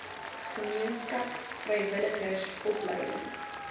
gemeenskaps vrywilligers opleiding